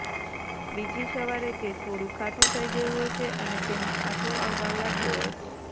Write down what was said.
બીજી સવારે તે થોડું ખાટું થઈ ગયું હશે અને તેમાં આથો આવવા લાગ્યો હશે